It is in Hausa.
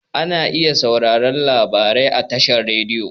Ana iya sauraren labarai a tashar rediyo.